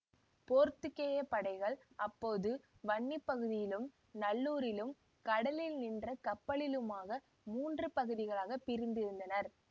போத்துக்கேயப் படைகள் அப்போது வன்னி பகுதியிலும் நல்லூரிலும் கடலில் நின்ற கப்பலிலுமாக மூன்று பகுதிகளாகப் பிரிந்திருந்தனர்